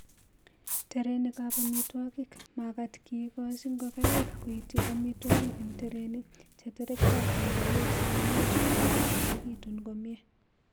terenikab amitwogik; magat kigoochi ngokaik koityi amitwogiken tereni che terektootin komie sikomuch kolok ak koeegitun komie